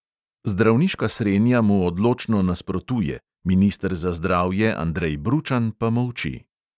Zdravniška srenja mu odločno nasprotuje, minister za zdravje andrej bručan pa molči.